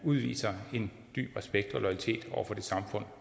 udviser en dyb respekt og loyalitet over for det samfund